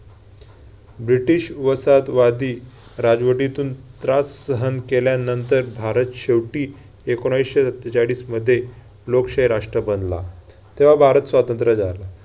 British वसाहतवादी राजवटीतून त्रास सहन केल्यानंतर भारत शेवटी एकोणावीसशे सत्तेचाळीसमध्ये लोकशाही राष्ट्र बनला. तेव्हा भारत स्वातंत्र्य झाला.